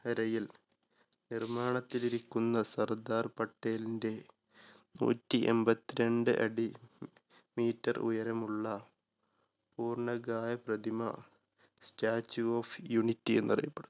കരയിൽ നിർമാണത്തിലിരിക്കുന്ന സർദാർ പട്ടേലിന്റെ നൂറ്റിഎൺപത്തി രണ്ട് അടി meter ഉയരമുള്ള പൂർണകായ പ്രതിമ statue of unity എന്നറിയപ്പെടുന്നു.